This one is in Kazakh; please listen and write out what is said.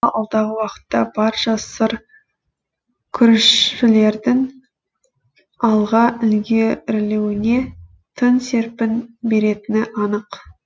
алдағы уақытта барша сыр күрішшілердің алға ілге рілеуіне тың серпін беретіні анық